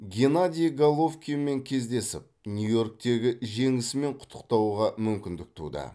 геннадий головкинмен кездесіп нью йорктегі жеңісімен құттықтауға мүмкіндік туды